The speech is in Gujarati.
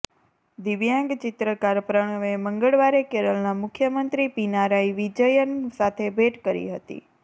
દિવ્યાંગ ચિત્રકાર પ્રણવે મંગળવારે કેરલના મુખ્યમંત્રી પીનારાઈ વિજયન સાથે ભેટ કરી હતી